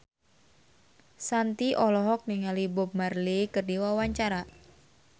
Shanti olohok ningali Bob Marley keur diwawancara